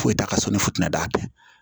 Foyi t'a ka sɔnni fi na d'a kɛ